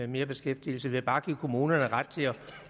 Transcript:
mere beskæftigelsen ved bare at give kommunerne ret til